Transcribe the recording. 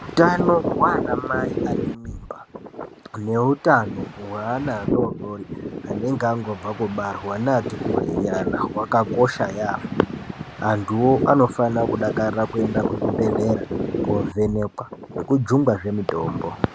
Utano hwana mai anemimba, neutano hweana adodori, anenge angobva kubarwa, neati kureyi nyana hwakakosha yambo, anduwo anofana kudakarira kuenda kuzvibhedhlera kovhenekwa nekujungwazve mitombo.